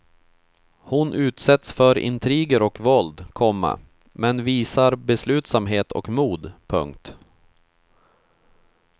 Hon utsätts för intriger och våld, komma men visar beslutsamhet och mod. punkt